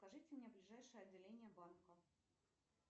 покажите мне ближайшее отделение банка